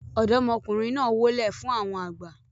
ọ̀dọ́mọkùnrin náà wólẹ̀ fún àwọn àgbà